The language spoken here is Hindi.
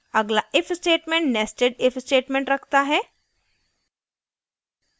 अगला if statement nested if statement रखता है